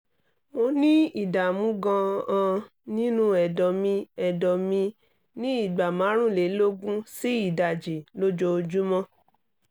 mo ní ìdààmú gan-an nínú ẹ̀dọ̀ mi ẹ̀dọ̀ mi ní ìgbà márùnlélógún sí ìdajì lójoojúmọ́